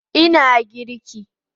Ina girki